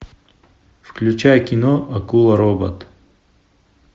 включай кино акула робот